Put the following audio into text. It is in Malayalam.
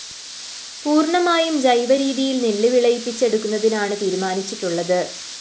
പൂര്‍ണമായും ജൈവ രീതിയില്‍ നെല്ല് വിളയിപ്പിച്ചെടുക്കുന്നതിനാണ് തീരുമാനിച്ചിട്ടുള്ളത്